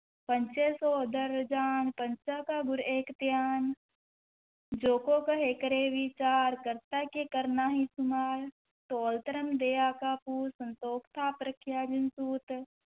ਪੰਚੇ ਸੋਹ ਦਰਿ ਰਾਜਾਨੁ, ਪੰਚਾ ਕਾ ਗੁਰੁ ਏਕੁ ਧਿਆਨੁ, ਜੇ ਕੋ ਕਹੈ ਕਰੈ ਵੀਚਾਰੁ, ਕਰਤੇ ਕੈ ਕਰ ਨਾਹੀ ਸੁਮਾਰੁ, ਧੌਲੁ ਧਰਮੁ ਦਇਆ ਕਾ ਪੂਤੁ, ਸੰਤੋਖੁ ਥਾਪਿ ਰਖਿਆ ਜਿਨਿ ਸੂਤਿ,